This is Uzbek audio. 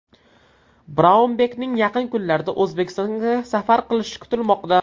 Braunbekning yaqin kunlarda O‘zbekistonga safar qilishi kutilmoqda.